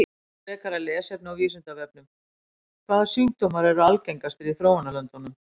Frekara lesefni á Vísindavefnum: Hvaða sjúkdómar eru algengastir í þróunarlöndunum?